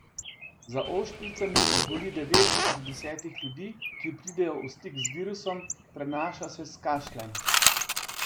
Za ošpicami zboli devet od desetih ljudi, ki pridejo v stik z virusom, prenaša se s kašljem.